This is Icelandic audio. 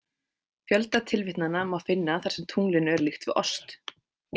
Fjölda tilvitnana má finna þar sem tunglinu er líkt við ost.